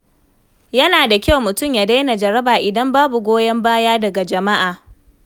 Yana da wahala mutum ya daina jaraba idan babu goyon baya daga jama’a.